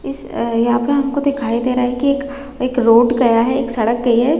इस अ यहाँ पे हमको दिखाई दे रहा है की एक एक रोड गया है एक सड़क गई है।